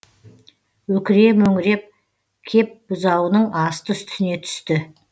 өкіре мөңіреп кеп бұзауының асты үстіне түсті